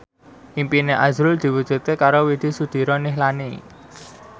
impine azrul diwujudke karo Widy Soediro Nichlany